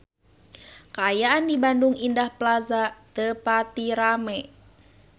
Kaayaan di Bandung Indah Plaza teu pati rame